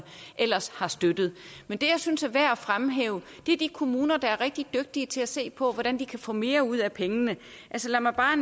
ellers støttede men det jeg synes er værd at fremhæve er de kommuner der er rigtig dygtige til at se på hvordan de kan få mere ud af pengene altså lad mig bare